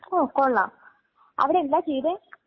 ഓ കൊള്ളാം അവിടെ എന്താ ചെയ്തെ.